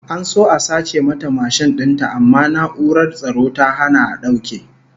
An so a sace mata mashin din ta amma na'urar tsaro ta hana a dauke